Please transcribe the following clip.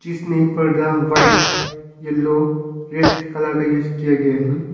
इसमें पर्दा white yellow red colour का यूज किया गया है।